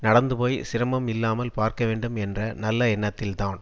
நடந்துபோய் சிரமம் இல்லாமல் பார்க்க வேண்டும் என்ற நல்ல எண்ணத்தில்தான்